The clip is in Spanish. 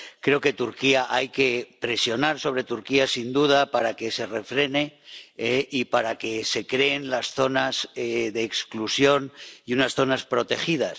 Creo que hay que presionar a Turquía sin duda para que se refrene y para que se creen las zonas de exclusión y unas zonas protegidas.